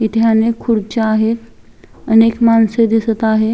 इथे अनेक खुर्च्या आहे अनेक माणस दिसत आहे.